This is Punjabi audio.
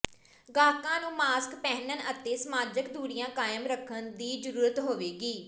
ਗਾਹਕਾਂ ਨੂੰ ਮਾਸਕ ਪਹਿਨਣ ਅਤੇ ਸਮਾਜਕ ਦੂਰੀਆਂ ਕਾਇਮ ਰੱਖਣ ਦੀ ਜ਼ਰੂਰਤ ਹੋਏਗੀ